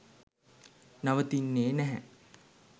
නවතින්නේ නැහැ.